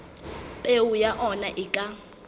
peo ya ona e ka